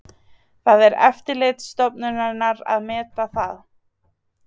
Það er eftirlitsstofnunarinnar að meta það